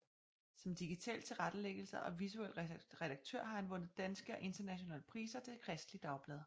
Som digital tilrettelægger og visuel redaktør har han vundet danske og internationale priser til Kristeligt Dagblad